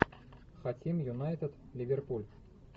хотим юнайтед ливерпуль